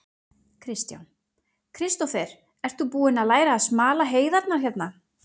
Kristján: Kristófer, ert þú búinn að læra að smala heiðarnar hérna?